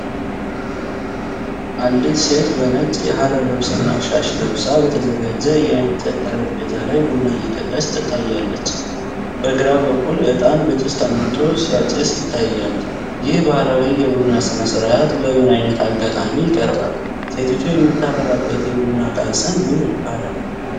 አንዲት ሴት በነጭ የሀገር ልብስና ሻሽ ለብሳ፤ በተዘጋጀ የእንጨት ጠረጴዛ ላይ ቡና እየቀዳች ትታያለች። በግራ በኩል ዕጣን በጭስ ተሞልቶ ሲያጤስ ይታያል። ይህ ባህላዊ የቡና ሥነ-ስርዓት በምን ዓይነት አጋጣሚ ይቀርባል? ሴቲቱ የምታፈላበት የቡና ዕቃ ስም ምን ይባላል?